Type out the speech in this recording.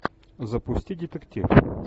запусти детектив